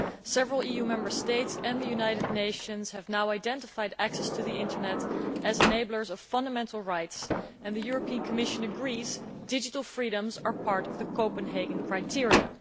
Several EU Member States, and the United Nations, have now identified access to the Internet as an enabler of fundamental rights, and the Commission agrees that digital freedoms are part of the Copenhagen criteria.